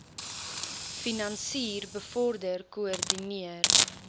finansier bevorder koördineer